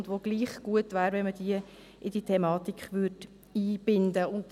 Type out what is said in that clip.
Es wäre gut, wenn man sie gleichwohl in die Thematik einbinden würde.